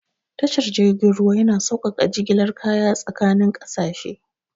Tashar jirgin ruwa yana saukaka jigilar kaya tsakanin kasashe.